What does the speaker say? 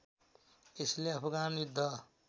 यसले अफगान युद्ध